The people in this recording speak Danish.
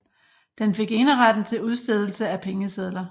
Den fik eneretten til udstedelse af pengesedler